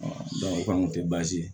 o kɔni tɛ baasi ye